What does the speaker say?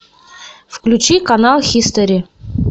включи канал хистори